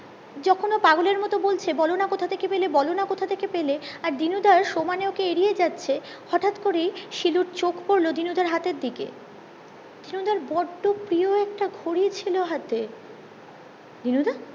যখন ও পাগলের মতো বলছে বলোনা কথা থেকে পলে আর দিনু দার সমানে ওকে এড়িয়ে যাচ্ছে হটাৎ করেই শিলুর চোখ পড়লো দীনুদার হাতের দিকে দিনু দার বড্ডো প্রিয় একটা ঘড়ি ছিল হাতে দিনুদা